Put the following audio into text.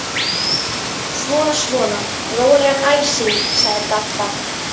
Svona svona, rólegan æsing sagði Dadda.